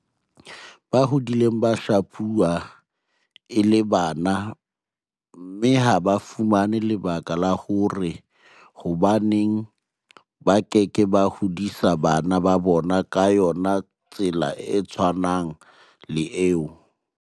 Ba hodile ba shapuwa e le bana mme ha ba fumane lebaka la hore hobaneng ba ke ke ba hodisa bana ba bona ka yona tsela e tshwanang le eo.